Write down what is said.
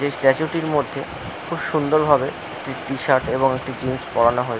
এই স্ট্যাচু টির মধ্যে খুব সুন্দর ভাবে একটি টি শার্ট এবং জিন্স পড়ানো হয়ে--